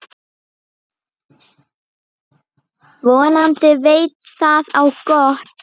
Vonandi veit það á gott.